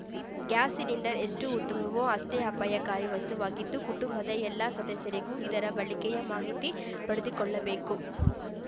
gas cylinder ಎಷ್ಟು ಉತ್ತಮವೋ ಅಷ್ಟೇ ಅಪಾಯಕಾರಿ ವಸ್ತುವಾಗಿದ್ದು ಕುಟುಂಬದ ಎಲ್ಲ ಸದಸ್ಯರಿಗೂ ಇದರ ಬಳಕೆಯ ಮಾಹಿತಿ ಪಡೆದುಕೊಳ್ಳಬೇಕು